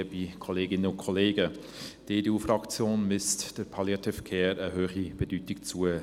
Die EDU-Fraktion misst der Palliative Care eine hohe Bedeutung bei.